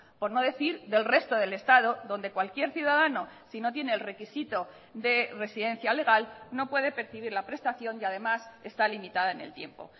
por no decir del resto del estado donde cualquier ciudadano si no tiene el requisito de residencia legal no puede percibir la prestación y además está limitada en el tiempo